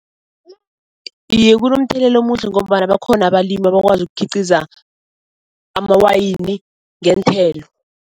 Iye kunomthelela omuhle ngombana bakhona abalimi abakwazi ukukhiqiza amawayini ngeenthelo.